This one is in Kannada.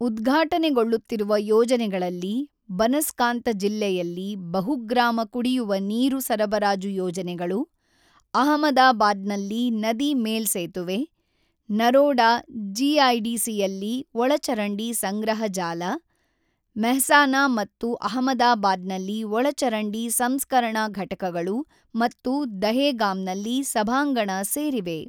ಉದ್ಘಾಟನೆಗೊಳ್ಳುತ್ತಿರುವ ಯೋಜನೆಗಳಲ್ಲಿ ಬನಸ್ಕಾಂತ ಜಿಲ್ಲೆಯಲ್ಲಿ ಬಹುಗ್ರಾಮ ಕುಡಿಯುವ ನೀರು ಸರಬರಾಜು ಯೋಜನೆಗಳು, ಅಹಮದಾಬಾದ್ನಲ್ಲಿ ನದಿ ಮೇಲ್ಸೇತುವೆ, ನರೋಡಾ ಜಿಐಡಿಸಿಯಲ್ಲಿ ಒಳಚರಂಡಿ ಸಂಗ್ರಹ ಜಾಲ, ಮೆಹ್ಸಾನಾ ಮತ್ತು ಅಹಮದಾಬಾದ್ನಲ್ಲಿ ಒಳಚರಂಡಿ ಸಂಸ್ಕರಣಾ ಘಟಕಗಳು ಮತ್ತು ದಹೇಗಾಮ್ನಲ್ಲಿ ಸಭಾಂಗಣ ಸೇರಿವೆ.